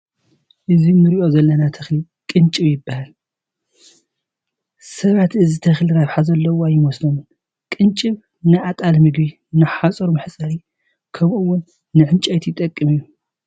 እዚ ንሪኦ ዘለና ተኽሊ ቅንጭብ ይበሃል፡፡ ሰባት እዚ ተኽሊ ረብሓ ዘለዎ ኣይመስሎምን፡፡ ቅንጭብ ፃ ንኣጣል ምግቢ፣ ንሓፁር መሕፀሪ፣ ከምኡውን ንዕንጨይቲ ይጠቅም እዩ፡፡